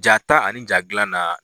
Ja ta ani ja gilan na